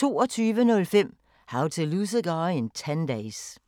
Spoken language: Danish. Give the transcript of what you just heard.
22:05: How to Lose a Guy in 10 Days